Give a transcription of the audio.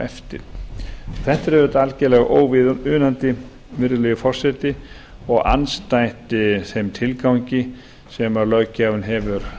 eftir þetta er auðvitað algjörlega óviðunandi virðulegi forseti og andstætt þeim tilgangi sem löggjafinn hefur